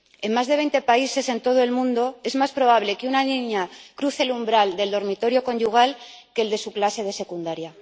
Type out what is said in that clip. En más de 20 países en todo el mundo, es más probable que una niña cruce el umbral del dormitorio conyugal que el de su clase de secundaria.